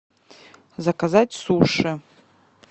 заказать суши